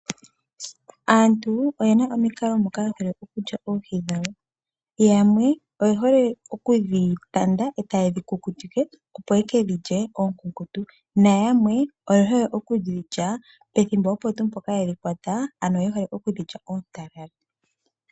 Aantu oyena omikalo moka ye hole okulya oohi dhawo. Yamwe oye hole okudhi tanda etaye dhi kukutike opo ye kedhilye oonkunkutu, nayamwe oye hole okudhilya pethimbo opo tuu mpoka yedhi kwata ano yehole okudhilya oontalala.